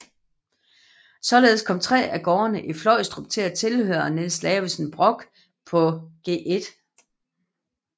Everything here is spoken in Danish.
Således kom tre af gårdene i Fløjstrup til at tilhøre Niels Lavesen Brock på Gl